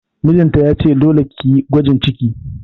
Mijin ta ya ce 'Dole ki yi gwajin ciki'!